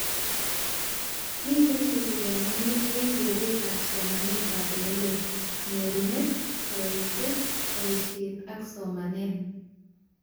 Miten tuguk aknwanu eng keretab somanetab oleloo: nyorunet, kaitet, boishet ak somanet